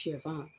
Sɛfan